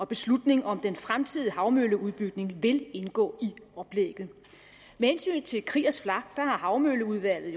beslutning om den fremtidige havmølleudbygning vil indgå i oplægget med hensyn til kriegers flak sige at havmølleudvalget